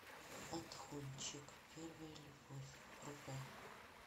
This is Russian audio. отхончик первая любовь врубай